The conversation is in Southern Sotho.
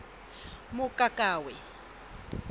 mokakawe